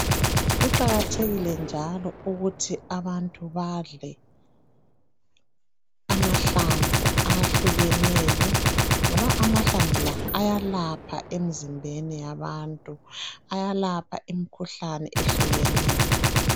Kuqakathekile njalo ukuthi abantu badle amahlamvu ahlukeneyo ngoba amahlamvu la ayalapha emzimbeni yabantu. Ayalapha imikhuhlane eyehlukeneyo.